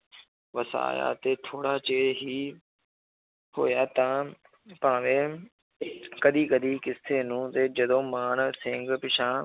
ਵਸਾਇਆ ਤੇ ਥੋੜ੍ਹਾ ਚਿਰ ਹੀ ਹੋਇਆ ਤਾਂ ਭਾਵੇਂ ਕਦੇ ਕਦੇ ਕਿਸੇ ਨੂੰ ਤੇ ਜਦੋਂ ਮਾਨ ਸਿੰਘ ਪਿੱਛਾਂਹ